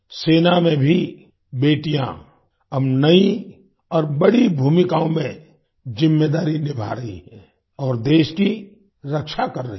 सेना में भी बेटियाँ अब नई और बड़ी भूमिकाओं में ज़िम्मेदारी निभा रही हैं और देश की रक्षा कर रही हैं